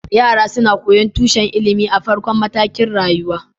Yara suna koyon tushen ilimi a farkon matakin rayuwa